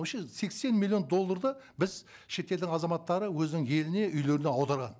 вообще сексен миллион долларды біз шетелдің азаматтары өзінің еліне үйлеріне аударған